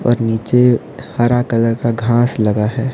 और नीचे हरा कलर का घास लगा है।